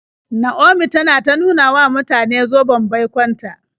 Naomi tana ta nuna wa mutane zoben baikon ta.